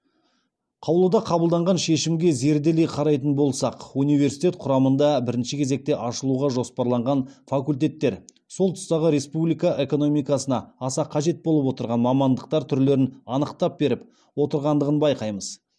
қаулыда қабылданған шешімге зерделей қарайтын болсақ университет құрамында бірінші кезекте ашылуға жоспарланған факультеттер сол тұстағы республика экономикасына аса қажет болып отырған мамандықтар түрлерін анықтап беріп отырғандығын байқаймыз